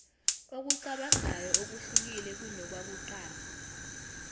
okucabangayo okuhlukile kunokwakuqala